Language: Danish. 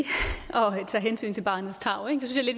tage hensyn til barnets tarv det synes